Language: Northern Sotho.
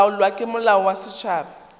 laolwa ke molao wa setšhaba